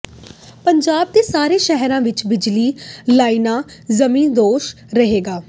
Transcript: ਪੰਜਾਬ ਦੇ ਸਾਰੇ ਸ਼ਹਿਰਾਂ ਵਿੱਚ ਬਿਜਲੀ ਲਾਈਨਾਂ ਜ਼ਮੀਨਦੋਜ਼ ਹੋਣਗੀਆਂ